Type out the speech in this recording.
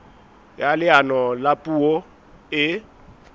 ya leano la puo e